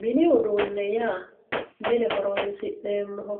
Mini uduune yaa mine horonsi'neemoho